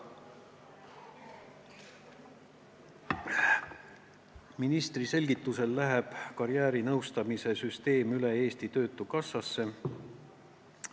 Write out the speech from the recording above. Ministri selgituse järgi läheb karjäärinõustamise süsteem üle Eesti Töötukassasse.